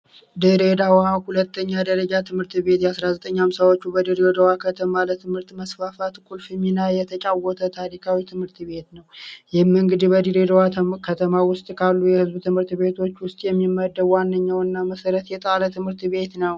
የድሬደዋ ሁለተኛ ደረጃትምህርት ቤት በ 1950ዎቹ በድሬደዋ ከተማ የትምህርት መስፋፋት ቁልፍ ሚና የተጫወተ ታሪካዊ ትምህርት ቤት ነው የህም እንገዲህ በድሬ ደዋ ከተሜ ዉስጥ ያሉ የህዝብ ትምህርት ቤቶች ውስጥ የሚመደቡ ዋነኛው እና መሰረት የጣለ ትመህርት ቤት ነው።